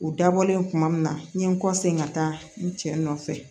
U dabɔlen kuma min na n ye n kɔsegin ka taa n cɛ nɔfɛ